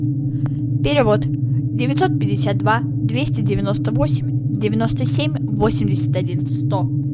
перевод девятьсот пятьдесят два двести девяносто восемь девяносто семь восемьдесят один сто